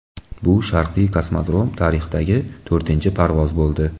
Bu Sharqiy kosmodrom tarixidagi to‘rtinchi parvoz bo‘ldi.